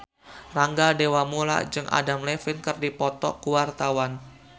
Rangga Dewamoela jeung Adam Levine keur dipoto ku wartawan